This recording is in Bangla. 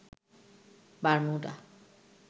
বারমুডা